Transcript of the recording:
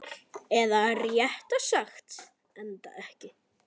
Eða réttara sagt, endaði ekki.